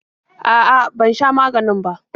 A'a, ban sha maganina ba.